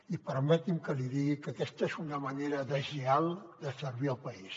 i permeti’m que li digui que aquesta és una manera deslleial de servir el país